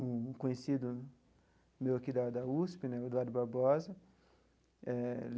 um conhecido meu aqui da da USP né, o Eduardo Barbosa eh.